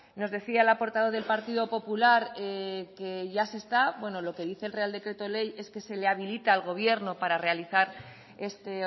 nos decía la portavoz del partido popular que ya se está bueno lo que dice el real decreto ley es que se le habilita al gobierno para realizar este